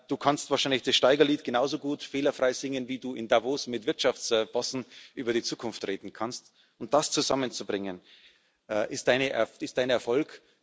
Du kannst wahrscheinlich das Steigerlied genauso gut fehlerfrei singen, wie Du in Davos mit Wirtschaftsbossen über die Zukunft reden kannst, und das zusammenzubringen, ist Dein Erfolg.